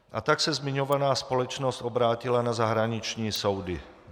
A tak se zmiňovaná společnost obrátila na zahraniční soudy.